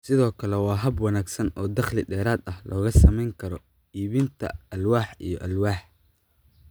Sidoo kale waa hab wanaagsan oo dakhli dheeraad ah looga samayn karo iibinta alwaax iyo alwaax."